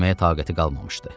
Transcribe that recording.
Getməyə taqəti qalmamışdı.